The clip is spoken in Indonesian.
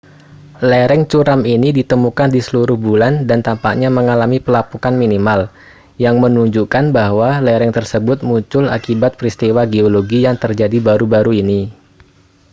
lereng curam ini ditemukan di seluruh bulan dan tampaknya mengalami pelapukan minimal yang menunjukkan bahwa lereng tersebut muncul akibat peristiwa geologi yang terjadi baru-baru ini